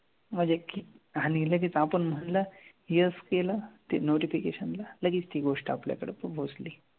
म्हणजे की आणि लगेच आपण म्हणलं yes केलं ते notification ला लगेच ती गोष्ट आपल्याकडं पोहोचली.